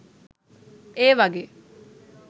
ඒ වගේ